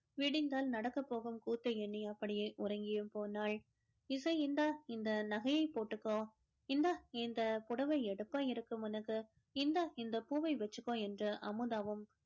விடிந்தால் நடக்கப் போகும் கூத்தை எண்ணி அப்படியே உறங்கியும் போனாள் இசை இந்த இந்த நகையை போட்டுக்கோ இந்த இந்த புடவ எடுக்க இருக்கும் உனக்கு இந்த இந்த பூவை வச்சுக்கோ என்று அமுதாவும்